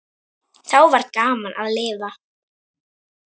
Þá var gaman að lifa.